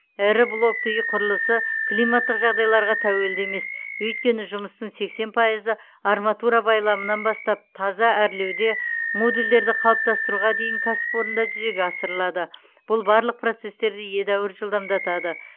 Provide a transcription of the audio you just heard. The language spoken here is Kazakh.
ірі блокты үй құрылысы климаттық жағдайларға тәуелді емес өйткені жұмыстың сексен пайызы арматура байламынан бастап таза әрлеуде модульдерді қалыптастыруға дейін кәсіпорында жүзеге асырылады бұл барлық процестерді едәуір жылдамдатады